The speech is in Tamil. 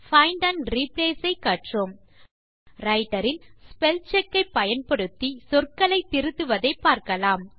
பைண்ட் ஆண்ட் ரிப்ளேஸ் ஐ கற்றோம் ரைட்டர் இல் ஸ்பெல்செக் ஐ பயன்படுத்தி சொற்களை திருத்துவதை பார்க்கலாம்